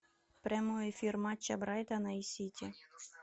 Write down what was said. прямой эфир матча брайтона и сити